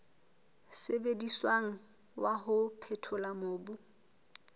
sebediswang wa ho phethola mobu